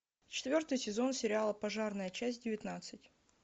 четвертый сезон сериала пожарная часть девятнадцать